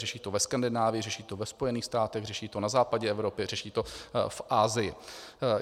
Řeší to ve Skandinávii, řeší to ve Spojených státech, řeší to na západě Evropy, řeší to v Asii.